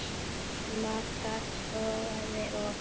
Magga togaði og